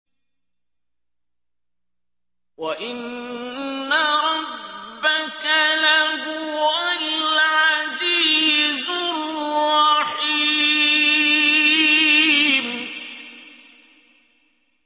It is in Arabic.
وَإِنَّ رَبَّكَ لَهُوَ الْعَزِيزُ الرَّحِيمُ